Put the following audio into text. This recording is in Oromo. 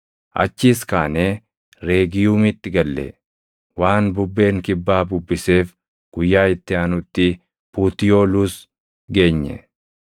Achiis kaanee Reegiyuumitti galle; guyyaa tokko booddees waan bubbeen kibbaa bubbiseef guyyaa itti aanutti Putiyooluus geenye.